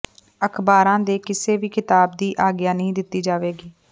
ਅਖ਼ਬਾਰਾਂ ਦੇ ਕਿਸੇ ਵੀ ਖ਼ਿਤਾਬ ਦੀ ਆਗਿਆ ਨਹੀਂ ਦਿੱਤੀ ਜਾਵੇਗੀ